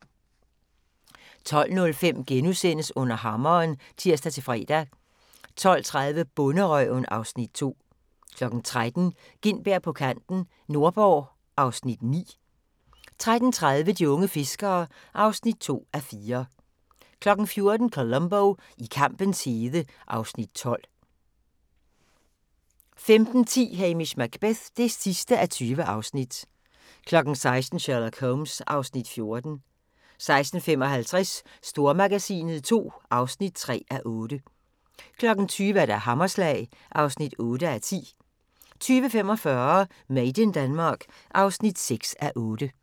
12:05: Under hammeren *(tir-fre) 12:30: Bonderøven (Afs. 2) 13:00: Gintberg på kanten – Nordborg (Afs. 9) 13:30: De unge fiskere (2:4) 14:00: Columbo: I kampens hede (Afs. 12) 15:10: Hamish Macbeth (20:20) 16:00: Sherlock Holmes (Afs. 14) 16:55: Stormagasinet II (3:8) 20:00: Hammerslag (8:10) 20:45: Made in Denmark (6:8)